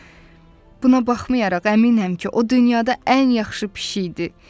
Buna baxmayaraq, əminəm ki, o dünyada ən yaxşı pişik idi.